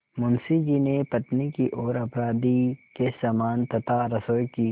मुंशी जी ने पत्नी की ओर अपराधी के समान तथा रसोई की